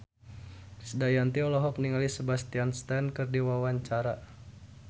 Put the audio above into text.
Krisdayanti olohok ningali Sebastian Stan keur diwawancara